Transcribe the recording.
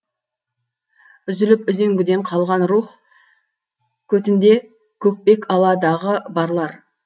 үзіліп үзеңгіден қалған рух көтінде көкпек ала дағы барлар